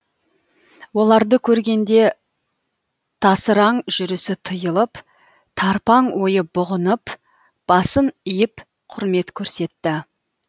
оларды көргенде тасыраң жүрісі тыйылып тарпаң ойы бұғынып басын иіп құрмет көрсетті